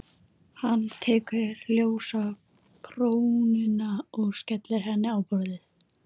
Ég settist á tröppurnar á vinnuskúrnum.